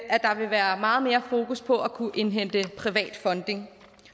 vil være meget mere fokus på at kunne indhente privat funding